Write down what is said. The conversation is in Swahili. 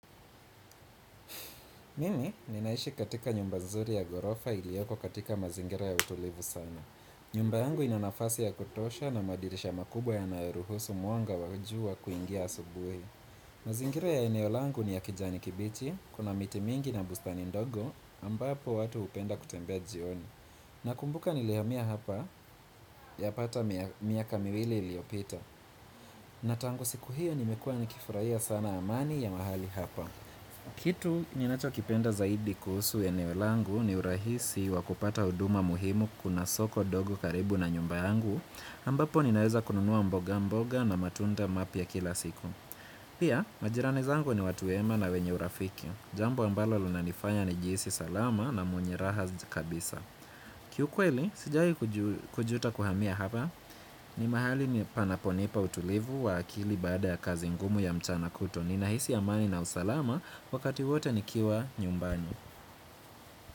Mimi ninaishi katika nyumba zuri ya ghorofa ilioko katika mazingira ya utulivu sana. Nyumba yangu ina nafasi ya kutosha na madirisha makubwa yanayoruhusu mwanga wa jua kuingia asubuhi. Mazingira ya eneo langu ni ya kijani kibichi, kuna miti mingi na bustani ndogo ambapo watu hupenda kutembea jioni. Nakumbuka nilihamia hapa yapata miaka miwili iliyopita. Na tangu siku hiyo nimekuwa nikifurahia sana amani ya mahali hapa. Kitu ninachokipenda zaidi kuhusu eneo langu ni urahisi wa kupata huduma muhimu kuna soko dogo karibu na nyumba yangu ambapo ninaweza kununua mboga mboga na matunda mapya kila siku Pia majirani zangu ni watu wema na wenye urafiki Jambo ambalo linanifanya nijihisi salama na mwenye raha kabisa Kiukweli, sijai kujuta kuhamia hapa ni mahali panaponipa utulivu wa akili baada ya kazi ngumu ya mchana kutwa Ninahisi amani na usalama wakati wote nikiwa nyumbani.